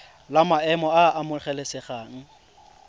la maemo a a amogelesegang